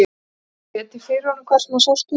Það var líka setið fyrir honum hvar sem hann sást úti.